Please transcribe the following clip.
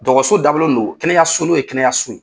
Dɔgɔso dabɔlen don kɛnɛyaso n'o ye kɛnɛyaso ye.